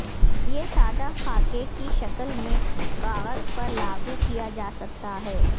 یہ سادہ خاکہ کی شکل میں کاغذ پر لاگو کیا جا سکتا ہے